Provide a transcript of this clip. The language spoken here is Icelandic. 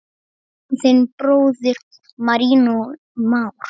Þinn bróðir, Marinó Már.